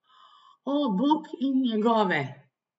O, bog, in njegove.